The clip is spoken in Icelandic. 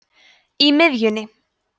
í miðjunni